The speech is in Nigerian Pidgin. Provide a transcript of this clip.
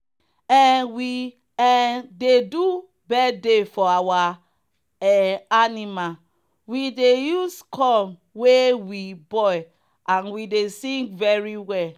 um we um dey do bithday for our um animal we dey use corn wey we boil and we dey sing very well.